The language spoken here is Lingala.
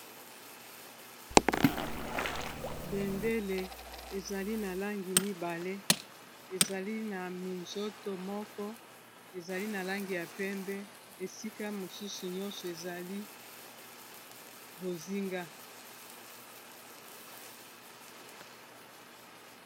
bendele ezali na langi mibale ezali na minzoto moko ezali na langi ya pembe esika mosusu nyonso ezali bozinga.